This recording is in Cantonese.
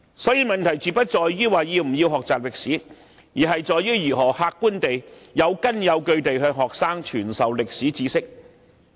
所以，問題絕不在於要不要學習歷史，而是如何客觀和有根有據地向學生傳授歷史知識。